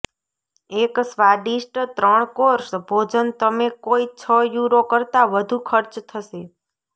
એક સ્વાદિષ્ટ ત્રણ કોર્સ ભોજન તમે કોઈ છ યુરો કરતાં વધુ ખર્ચ થશે